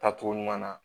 Taacogo ɲuman na